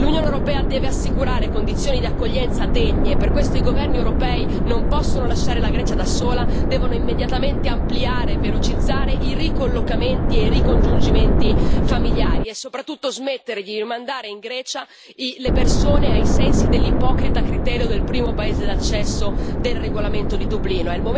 L'Unione europea deve assicurare condizioni di accoglienza degne e per questo i governi europei non possono lasciare la Grecia da sola, devono immediatamente ampliare e velocizzare i ricollocamenti e i ricongiungimenti familiari, e soprattutto smettere di rimandare in Grecia le persone ai sensi dell'ipocrita criterio del primo paese d'accesso del regolamento di Dublino.